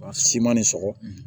A si ma ni sɔgɔ